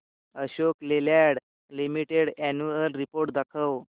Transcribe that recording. Ashok Leyland limited annual report दाखव